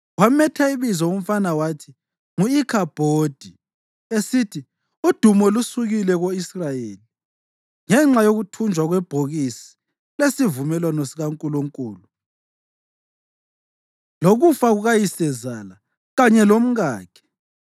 Wametha ibizo umfana wathi ngu-Ikhabhodi, esithi, “Udumo lusukile ko-Israyeli” ngenxa yokuthunjwa kwebhokisi lesivumelwano sikaNkulunkulu lokufa kukayisezala kanye lomkakhe.